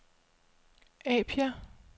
Apia